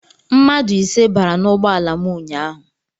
Mmadụ ise bara n'ụgbọala m ụnyaahụ.